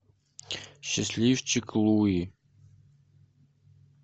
счастливчик луи